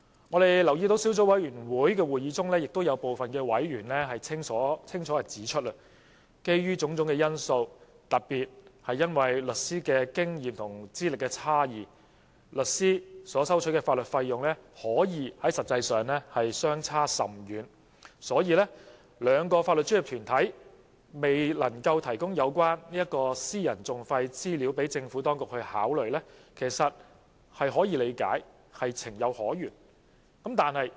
在擬議決議案小組委員會的會議中，亦有部分委員清楚指出，基於種種因素，特別是律師的經驗和資歷差異，不同律師所收取的法律費用實際上可以相差甚遠。所以，兩個法律專業團體未能提供有關私人訟費資料予政府當局參考，其實是可以理解、情有可原的。